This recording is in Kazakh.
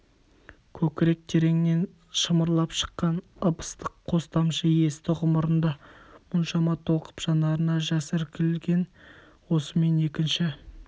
көкірек тереңнен шымырлап шыққан ып-ыстық қос тамшы есті ғұмырында мұншама толқып жанарына жас іркілген осымен екінші